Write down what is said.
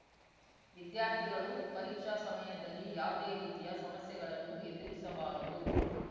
ವಿದ್ಯಾರ್ಥಿಗಳು ಪರೀಕ್ಷಾ ಸಮಯದಲ್ಲಿ ಯಾವುದೇ ರೀತಿಯ ಸಮಸ್ಯೆಗಳನ್ನು ಎದುರಿಸಬಾರದು